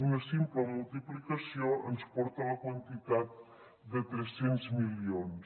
una simple multiplicació ens porta a la quantitat de tres cents milions